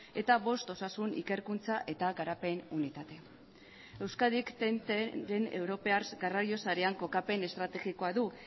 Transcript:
eta bost osasun ikerkuntza eta garapen unitate euskadik den europar garraio sarean kokapen estrategikoa du